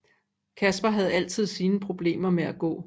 Kaspar havde altid siden problemer med at gå